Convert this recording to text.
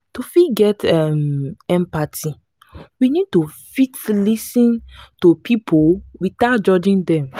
to fit get um empathy we need to fit lis ten to pipo without judging them